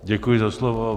Děkuji za slovo.